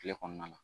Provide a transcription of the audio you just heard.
Kile kɔnɔna na